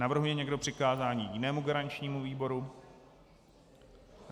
Navrhuje někdo přikázání jinému garančnímu výboru?